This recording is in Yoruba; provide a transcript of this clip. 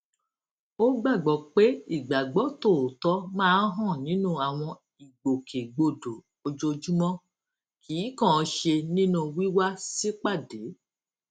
ó gbàgbó pé ìgbàgbó tòótó máa ń hàn nínú àwọn ìgbòkègbodò ojoojúmó kì í kànán ṣe nínú wíw sipade